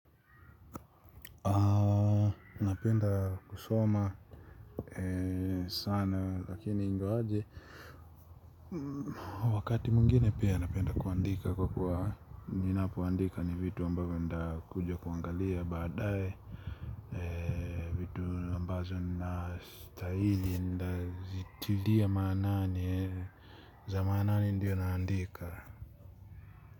Napenda kusoma sana lakini ingawaje wakati mwingine pia napenda kuandika kwa kuwa ninapoandika ni vitu ambavyo nitakuja kuangalia baadae. Ambazo ninastahili nitazitilia maanani. Za maanani ndio naandika.